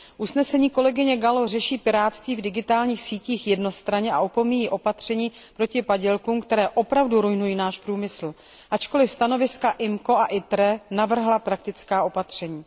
Zpráva kolegyně Galloové řeší pirátství v digitálních sítích jednostranně a opomíjí opatření proti padělkům, které opravdu ruinují náš průmysl, ačkoliv stanoviska výborů IMCO a ITRE navrhla praktická opatření.